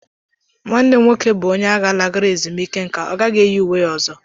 Nwanne m nwoke bụ onye agha lagoro ezumike nka ọ gaghị eyi uwe ya ọzọ.